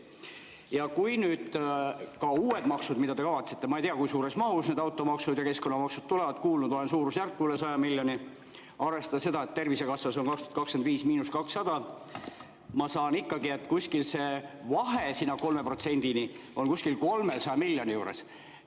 Ja ka nüüd nende uute maksude puhul, mida te kavatsete – ma ei tea, kui suures mahus automaksud ja keskkonnamaksud tulevad, kuulnud olen suurusjärgust üle 100 miljoni –, arvestades seda, et 2025 on Tervisekassas –200, ma saan ikkagi, et see vahe 3%-ni on umbes 300 miljoni juures.